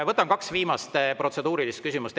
Võtan kaks viimast protseduurilist küsimust.